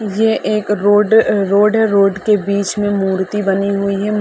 ये एक road road है। रोड के बीच में मूर्ति बनी हुई है।